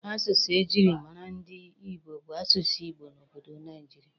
Asụsụ e jiri mara ndị Ibo bụ asụsụ Igbo n'obodo Naijiria.